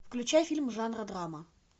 включай фильм жанра драма